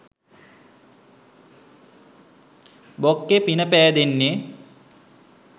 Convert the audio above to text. බොක්කෙ පින පෑදෙන්නෙ